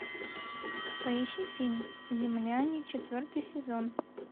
поищи фильм земляне четвертый сезон